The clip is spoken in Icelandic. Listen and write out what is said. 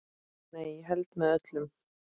Nei, ég held með öllum.